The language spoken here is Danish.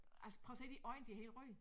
Altså prøv at se de øjne de helt røde